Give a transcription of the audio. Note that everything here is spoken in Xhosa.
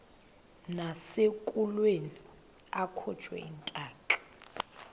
nasekulweni akhutshwe intaka